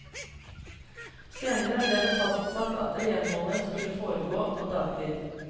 Senere ble det fastsatt at renholdet skulle foregå på dagtid.